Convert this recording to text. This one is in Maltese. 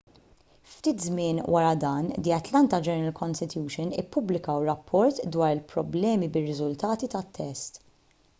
ftit żmien wara dan the atlanta journal-constitution ippubblikaw rapport dwar il-problemi bir-riżultati tat-test